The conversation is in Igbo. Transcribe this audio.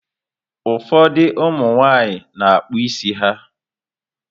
Ụfọdụ ụmụ nwaanyị na-akpụ isi ha.